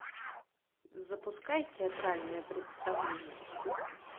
запускай театральное представление